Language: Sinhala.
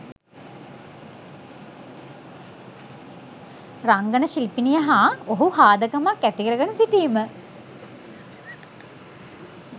රංගන ශිල්පිනිය හා ඔහු හාදකමක් ඇතිකරගෙන සිටීම